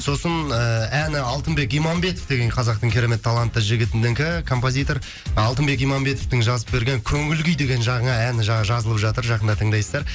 сосын ыыы әні алтынбек иманбетов деген қазақтың керемет талантты жігітінікі композитор алтынбек иманбетовтың жазып берген көңіл күй деген жаңа әні жаңа жазылып жатыр жақында тыңдайсыздар